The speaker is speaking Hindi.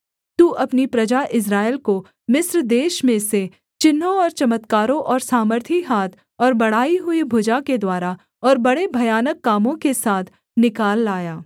तू अपनी प्रजा इस्राएल को मिस्र देश में से चिन्हों और चमत्कारों और सामर्थी हाथ और बढ़ाई हुई भुजा के द्वारा और बड़े भयानक कामों के साथ निकाल लाया